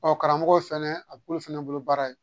Ɔ karamɔgɔw fana a bɛ k'olu fana bolo baara ye